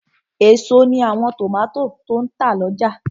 Èso ní àwọn tòmátò tó n tà lọ́jà